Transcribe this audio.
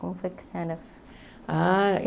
Como foi que a senhora Ah